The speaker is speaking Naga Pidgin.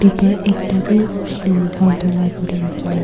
per ekta bi counter la opor tae rakhina--